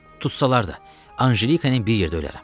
Tutsalar da, Anjelika ilə bir yerdə ölərəm.